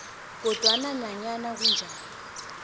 kodwana nanyana kunjalo